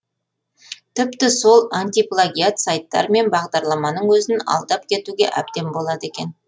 тіпті сол антиплагиат сайттар мен бағдарламаның өзін алдап кетуге әбден болады екен